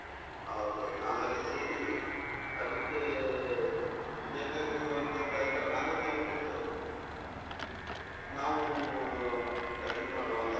ಹೌದ್ ಹೌದು ನಾವೆಲ್ಲ ಸೇರಿ ಅದಿಕ್ಕೆ ಬೇಕಾಗಿರುವಂತದ್ದು item ನಾವೇ ತಂದು ಕೊಟ್ಟು ನಾವು ready ಮಾಡಿ ಕೊಡುವ ಅಂತ,